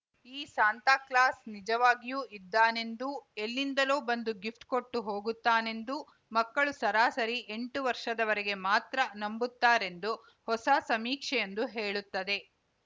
ಈ ಸಾಂತಾಕ್ಲಾಸ್‌ ನಿಜವಾಗಿಯೂ ಇದ್ದಾನೆಂದೂ ಎಲ್ಲಿಂದಲೋ ಬಂದು ಗಿಫ್ಟ್‌ ಕೊಟ್ಟು ಹೋಗುತ್ತಾನೆಂದೂ ಮಕ್ಕಳು ಸರಾಸರಿ ಎಂಟು ವರ್ಷದವರೆಗೆ ಮಾತ್ರ ನಂಬುತ್ತಾರೆಂದು ಹೊಸ ಸಮೀಕ್ಷೆಯೊಂದು ಹೇಳುತ್ತದೆ